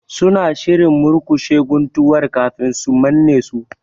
Suna shirin murƙushe guntuwar kafin su manne su